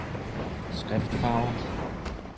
skriftfarve